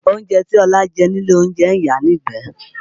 Oúnjẹ tí Ọlá jẹ nílé olóúnjẹ ń yàá nígbẹ̀ẹ́